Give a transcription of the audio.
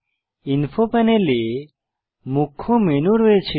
info প্যানেলে মুখ্য menu রয়েছে